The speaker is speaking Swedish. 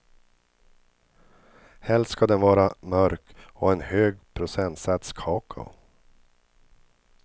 Helst ska den vara mörk och ha en hög procentsats kakao.